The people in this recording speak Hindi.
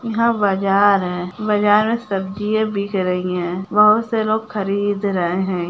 यहाँ बाजार है बाजार में सब्जियाँ बिक रही है बहुत से लोग खरीद रहे हैं।